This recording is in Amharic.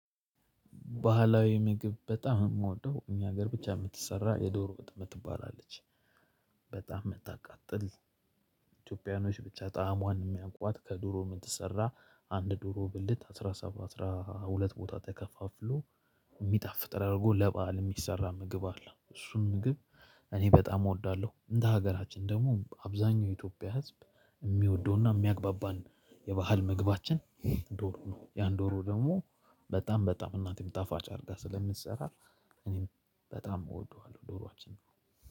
ባህላዊ ምግብ በጣም የምወደው እኛ ሀገር ብቻ የምትሰራ የዶሮ ወጥ ትባላለች። በጣም መታቀጥል ኢትዮጵያኖች ብቻ ጣዕሟን የሚያውቋት ከድሮ የምትሰራ አንድ ድሮ ብልት አስራ ሁለት ቦታ ተከፋፍሎ የሚጣፍጥ አድርጎ ለባህል የሚሰራ ምግብ አለ። እሱን ምግብ እኔ በጣም እወዳለሁ። እንደ ሀገራችን ደግሞ አብዛኛው የኢትዮጵያ ህዝብ የሚወደውና የሚያግባባን የባህል መግባችን ዶሮ ነው። ያን ዶሮ ደግሞ በጣም በጣም እናቴም ጣፋጭ አድርጋ ስለምትሰራ። እኔም በጣም እወደዋለሁ ዶሮአችን።